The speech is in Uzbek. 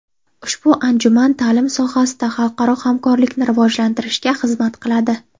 Ushbu anjuman ta’lim sohasida xalqaro hamkorlikni rivojlantirishga xizmat qiladi.